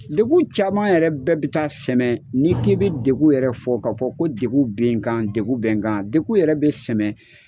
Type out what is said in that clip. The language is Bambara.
Degun caman yɛrɛ bɛɛ bɛ taa sɛmɛ n'i k'i bɛ degun yɛrɛ fɔ ka fɔ ko degun bɛ n kan degun bɛ n kan degun yɛrɛ bɛ sɛmɛ